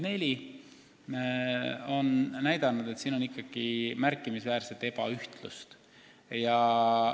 Seda on näidanud ka minu maakonnavisiidid, mida on seni olnud neli.